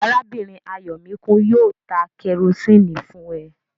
Arábìnrin Ayọ̀míkún yóò ta kẹrosíni fún ẹ